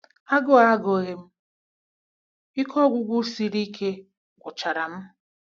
Agụụ agughi m, ike ọgwụgwụ siri ike gwucharam.